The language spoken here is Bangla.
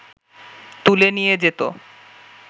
তুলে নিয়ে যেত